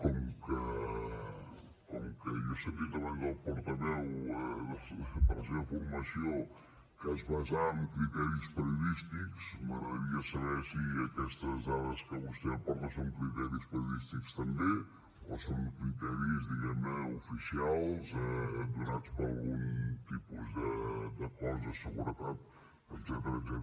com que jo he sentit abans el portaveu de la seva formació que es basava en criteris periodístics m’agradaria saber si aquestes dades que vostè aporta són criteris periodístics també o són criteris diguem ne oficials donats per algun tipus de cos de seguretat etcètera